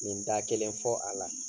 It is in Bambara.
Nin da kelen fɔ a la.